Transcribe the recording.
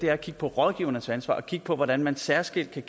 er at kigge på rådgivernes ansvar og at kigge på hvordan man særskilt kan